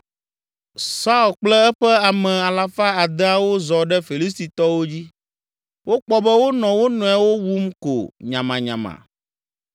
Saul kple eƒe ame alafa adeawo zɔ ɖe Filistitɔwo dzi. Wokpɔ be wonɔ wo nɔewo wum ko nyamanyama.